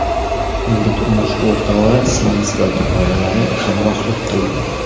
Unga turmush o‘rtog‘i, singlisi va dugonalari hamrohlik qildi.